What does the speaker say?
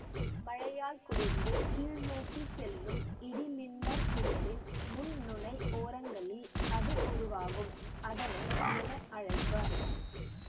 மழையால் குளிர்ந்து கீழ்நோக்கி செல்லும் இடிமின்னற்புயலின் முன் நுனை ஓரங்களில் அது உருவாகும் அதனை என அழைப்பர்